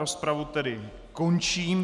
Rozpravu tedy končím.